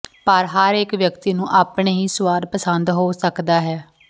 ਪਰ ਹਰ ਇੱਕ ਵਿਅਕਤੀ ਨੂੰ ਆਪਣੇ ਹੀ ਸੁਆਦ ਪਸੰਦ ਹੋ ਸਕਦਾ ਹੈ